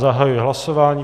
Zahajuji hlasování.